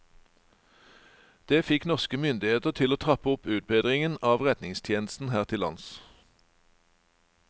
Det fikk norske myndigheter til å trappe opp utbedringen av redningstjenesten her til lands.